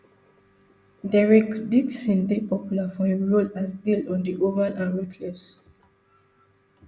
derek dixon dey popular for im role as dale on the oval and ruthless